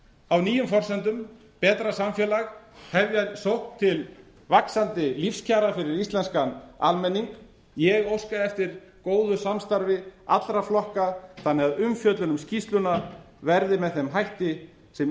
á nýjum forsendum betra samfélag hefja sókn til vaxandi lífskjara fyrir íslenska almenning ég óska eftir góðu samstarfi allra flokka þannig að umfjöllun um skýrsluna veðri með þeim hætti sem